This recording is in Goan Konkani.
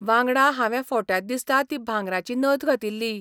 वांगडा हांवें फोट्यांत दिसता ती भांगराची नथ घातिल्ली.